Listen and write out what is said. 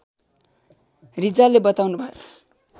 रिजालले बताउनुभयो